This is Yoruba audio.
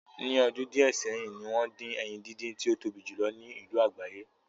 Ní ọdún díẹ̀ sẹ́yìn, ni wọ́n dín ẹyin díndín tí ó tóbi jù lo ní ìlú lágbàáyé